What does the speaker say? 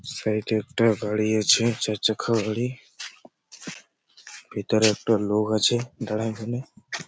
Side -এ একটা গাড়ি আছে চারচাখা গাড়ি । ভিতরে একটা লোক আছে ।